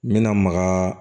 N bɛna maga